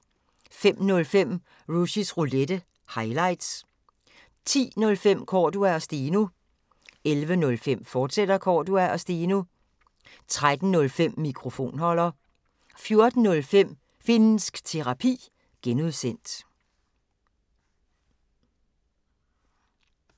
05:05: Rushys Roulette – highlights 10:05: Cordua & Steno 11:05: Cordua & Steno, fortsat 13:05: Mikrofonholder 14:05: Finnsk Terapi (G)